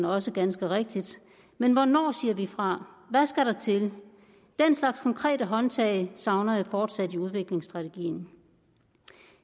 også ganske rigtigt men hvornår siger vi fra hvad skal der til den slags konkrete håndtag savner jeg fortsat i udviklingsstrategien